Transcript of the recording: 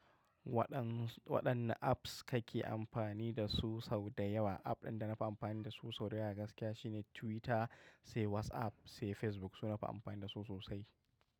Waɗan, waɗanne apps kake amfani da su sau da yawa? App ɗin da na fi amfani da su sau da yawa gaskiya shine Twitter, sai WhatsApp, sai Facebook. Su nafi amfani da su sosai.